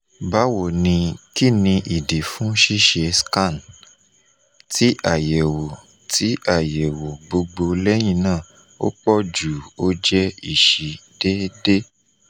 bawo ni kini idi fun ṣiṣe scan? ti ayẹwo ti ayẹwo gbogbo lẹhinna opoju o je isi dede